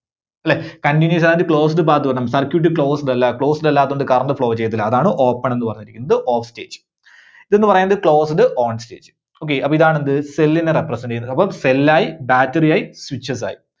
അല്ലേ Continuous ആവാൻ വേണ്ടി closed path വേണം. Circuit Closed അല്ല Closed അല്ലാത്തതുകൊണ്ട് current flow ചെയ്യത്തില്ല. അതാണ് Open എന്ന് പറഞ്ഞിരിക്കുന്നത് ഇത് Off stage. ഇതെന്ന് പറയുന്നത് Closed, ON stage okay. അപ്പോ ഇതാണ് എന്ത്? Cell ന്റെ representation അപ്പോ cell ആയി Battery ആയി Switches ആയി.